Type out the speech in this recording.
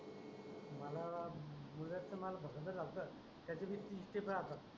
मला म्हणजे मुळव्याध त ज्यास्त आहे त्याची बी तीस ते प्र राहतात.